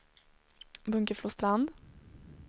Bunkeflostrand